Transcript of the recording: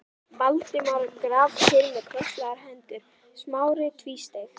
Valdimar grafkyrr með krosslagðar hendur, Smári tvístíg